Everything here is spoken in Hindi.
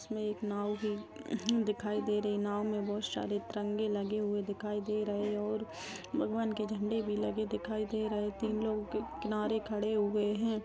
इसमे एक नाव है दिखाई दे रही है नाव मे बहुत सारे तिरेंगे लगे हुए दिखाए दे रहे और भगवान के झंडे भी लगे दे रहे है तीन लोग के नारे खड़े हुए है।